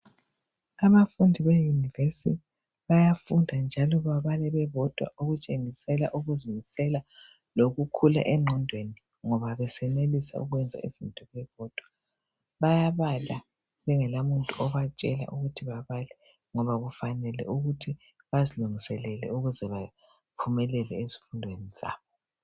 Abafundi be university bayafunda njalo babala bebodwa okutshengisela ukuzimisela lokukhula engqondweni ngoba besenelisa ukwenza izinto bebodwa bayabala bengela muntu obatshela ukuthi babale ngoba kufanele ukuthi bezilungiselele ukuze baphumelele ezifundweni zabo.